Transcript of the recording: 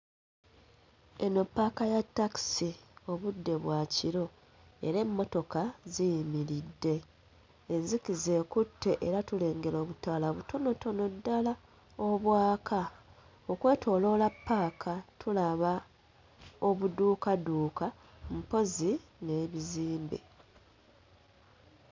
Eno ppaaka ya takisi budde bwa kiro era emmotoka ziyimiridde, enzikiza ekutte era tulengera obutaala butonotono ddala obwaka okwetooloola ppaaka, tulaba obuduukaduuka mpozzi n'ebizimbe.